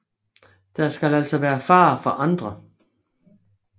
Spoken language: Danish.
Der skal altså være fare for andre